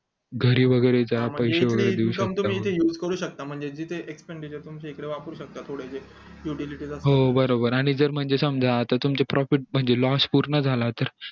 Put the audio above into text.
घडी वैगेरे चा पैशे वैगेरे देऊ शकता हो बरोबर आणि आता जर समजा तुमची property म्हणजे loss पूर्ण झाला तर